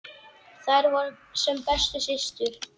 Þær voru sem bestu systur.